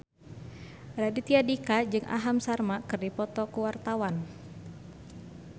Raditya Dika jeung Aham Sharma keur dipoto ku wartawan